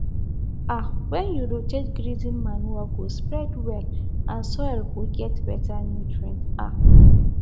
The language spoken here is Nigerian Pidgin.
um when you rotate grazing manure go spread well and soil go get better nutrient um